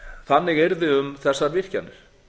þannig yrði um þessar virkjanir